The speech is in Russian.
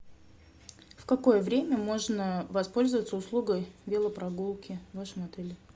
в какое время можно воспользоваться услугой велопрогулки в вашем отеле